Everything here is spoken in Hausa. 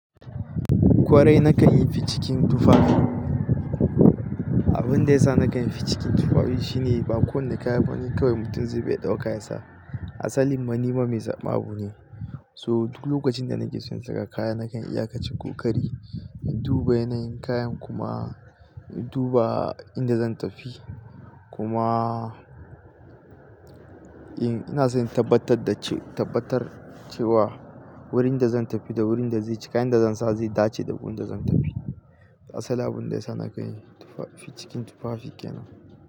Kwarai nakan yi ficikin tufafi. Abunda yasa nakan yi ficikin tufafi shine ba kowane kaya bane kawai mutum zai bi kawai ya dauka ya sa. Asalin ma nima mai zaban abune. So duk lokacin da nake son saka kaya nakan iya kaci kokari, in duba yanayin kayan kuma in duba inda zan tafi. Kuma in ina so in tabbatar da ce tabbatar cewa wurin da zan tafi da wurin da zai wurin zai cika yan da zan sa zai dace da wurin da zan tafi. Asalin abinda yasa nakan yi tufafi ficikin tufafi kenan.